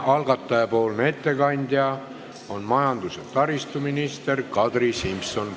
Algataja ettekandja on majandus- ja taristuminister Kadri Simson.